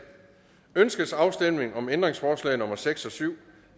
ønskes afstemning om ændringsforslag nummer seks og syv